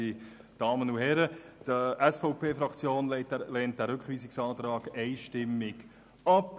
Die SVP-Fraktion lehnt den Rückweisungsantrag einstimmig ab.